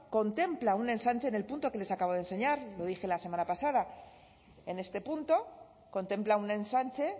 contempla un ensanche en el punto que les acabo de enseñar lo dije la semana pasada en este punto contempla un ensanche